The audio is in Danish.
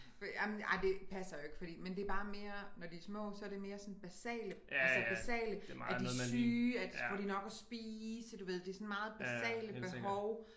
Ej det passer jo ikke fordi men det bare mere når de er små så er det sådan mere basale altså basale er de syge får de nok at spise du ved det er sådan meget basale behov